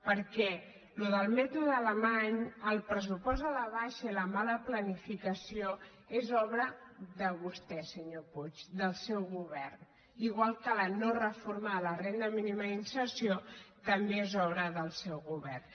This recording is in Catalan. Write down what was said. perquè allò del mèto de alemany el pressupost a la baixa i la mala planificació és obra de vostè senyor puig del seu govern igual que la no reforma de la renda mínima d’inserció també és obra del seu govern